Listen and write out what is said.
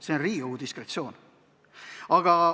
See on Riigikogu diskretsioon.